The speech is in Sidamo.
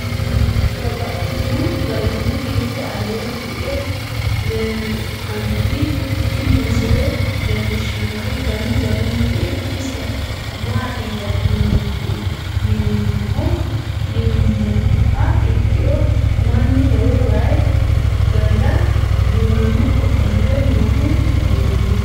Babaxxittinno garinni biiffe aleenni hige leelittannotti tinni misile lelishshanori danu danunkunni isi maattiya yinummoha ikkiro mannu lowo wayi gamira duunnamme ofolle noohu leelanno.